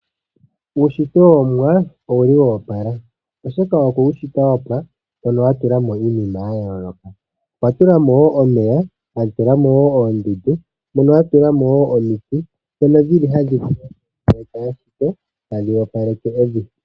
Uunshitwe wOmuwa owuli wa opala, oshoka okwe wu shita wa pwa mono a tula mo iinima ya yooloka. Okwa tula mo wo omeya, a tula mo wo oondundu nomiti ndhono tadhi opaleke evi.